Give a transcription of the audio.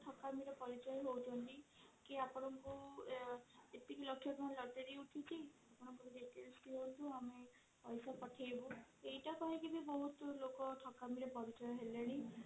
ଠକାମିର ପରିଚୟ ହଉଛନ୍ତି କି ଆପଣଙ୍କ ଏତିକି ଲକ୍ଷ ତାଙ୍କ lottery ଉଠିଛି ଦିଅ ଆମେ ପଇସା ପଠେଇବୁ ଏଇଟା କହିକି ବି ବହୁତ ଲୋକ ଠକାମିର ପରିଚୟ ହେଲେଣି